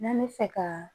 N'an bɛ fɛ ka